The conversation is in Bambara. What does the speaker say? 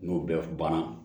N'o bɛɛ banna